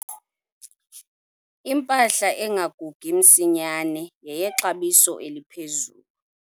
Impahla engagugi msinyane yeyexabiso eliphezulu.